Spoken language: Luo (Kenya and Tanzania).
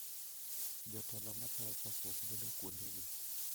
Jotelo ma tayo chokruok bedo kuondegi.